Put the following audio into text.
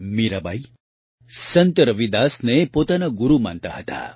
મીરાબાઇ સંત રવિદાસને પોતાના ગુરૂ માનતા હતા